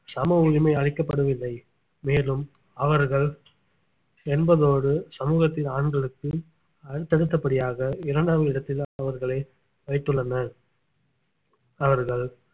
சம உரிமை அளிக்கப்படவில்லை மேலும் அவர்கள் என்பதோடு சமூகத்தின் ஆண்களுக்கு அடுத்தடுத்தபடியாக இரண்டாம் இடத்தில் அவர்களை வைத்துள்ளனர் அவர்கள்